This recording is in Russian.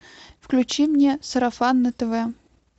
включи мне сарафан на тв